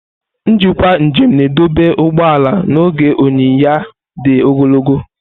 Njikwa njem na-edobe ụgbọ ala n'oge onyiya di ogologo.